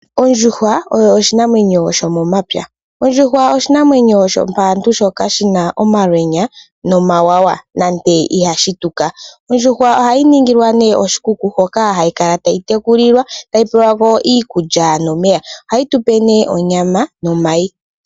Ondjuhwa oyo oshinamwenyo sho momapya, ondjuhwa oshinamwenyo shopaantu shoka shina omalwenya no mawawa nande ihashi tuka, ondjuhwa oha yi ningilwa nee oshikuku hoka hayi kala tayi yekulilwa, tayi pelwako iikulya nomeya Oha yi tupe nee onyama nomayi.